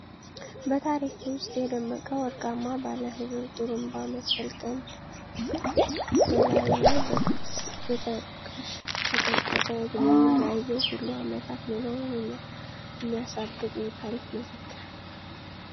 በታሪክ ውስጥ የደመቀ ወርቃማ ባለሕብር ጡሩንባ መሰል ቀንድ ፤ በላዩ ላይ በቅርፅ የተቀሽቆጠቆጠ እድሜውን ላየው ሁሉ ዓመታት መኖሩን የሚያሳብቅ የታሪክ መዘክር።